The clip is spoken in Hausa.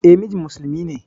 E, mijin musulmi ne.